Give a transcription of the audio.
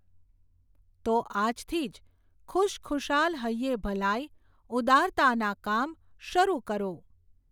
તો આજથી જ ખુશખુશાલ હૈયે ભલાઈ, ઉદારતાનાં કામ શરૂ કરો.